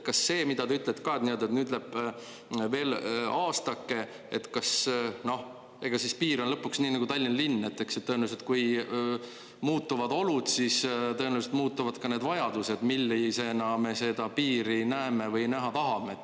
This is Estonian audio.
Kas see, mida te ütlete, et nüüd läheb veel aastake, ega siis piir on lõpuks nii nagu Tallinna linn, et tõenäoliselt, kui muutuvad olud, siis tõenäoliselt muutuvad ka need vajadused, millisena me seda piiri näeme või näha tahame.